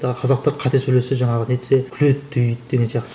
қазақтар қате сөйлесе жаңағы не етсе күледі дейді деген сияқты